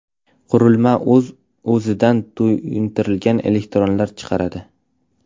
Qurilma o‘zidan to‘yintirilgan elektronlar chiqaradi.